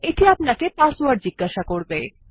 এটি আপানকে পাসওয়ার্ড জিজ্ঞাসা করবে